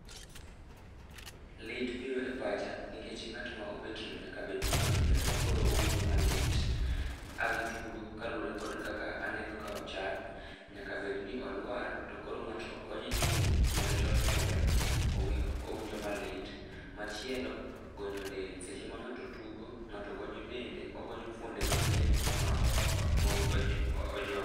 Lit biro e pacha, nikech ngát ma obetno nyaka bed ni ohinyore, koro owinjo malit. A gitugo kaluwore kod kaka aneno ka ochal. Nyaka bedni olwar, to koro ngátno konye chung' nikech ohinyore owinjo malit. Machielo, gonyo del. Seche ma ngáto tugo, ngáto gonyo dende. Ogonyo fuonde mag dende ma ojony.